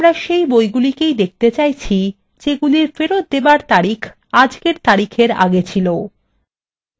এখানে তাহলে আমরা সেই বইগুলি date চাইছি যেগুলির ফেরত দেবার তারিখ আজকের তারিখের আগে ছিল